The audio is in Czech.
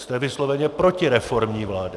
Jste vysloveně protireformní vláda!